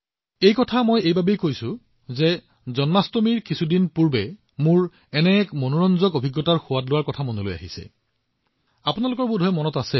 কিন্তু মই এইবোৰ কথা কোৱাৰ কাৰণ হৱ জন্মাষ্টমীৰ কেইদিনমান আগতে মই এনে এক আকৰ্ষণীয় অভিজ্ঞতাৰ মাজেৰে পাৰ হৈছো আৰু মই আপোনাৰ সৈতে এয়া বিনিময় কৰিবলৈ মন গৈছে